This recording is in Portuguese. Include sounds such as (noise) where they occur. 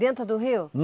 Dentro do rio? (unintelligible)